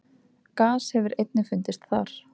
Gas hefur einnig fundist þar.